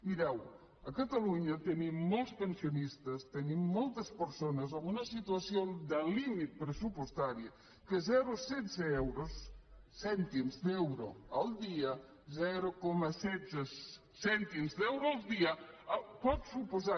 mireu a catalunya tenim molts pensionistes tenim moltes persones amb una situació de límit pressupostari per a les quals zero coma setze cèntims d’euro el dia zero coma setze cèntims d’euro el dia pot suposar